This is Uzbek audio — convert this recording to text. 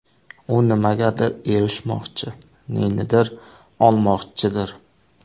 U nimagadir erishmoqchi, nenidir olmoqchidir.